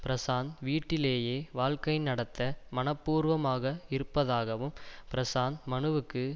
பிரசாந்த் வீட்டிலேயே வாழ்க்கை நடத்த மனப்பூர்வமாக இருப்பதாகவும் பிரசாந்த் மனுவுக்கு